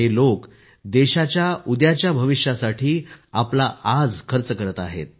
हे लोक देशाच्या उद्याच्या भविष्यासाठी आपला आज खर्च करत आहेत